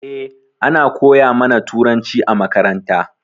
Eh ana koya ma na turanci a makaranta.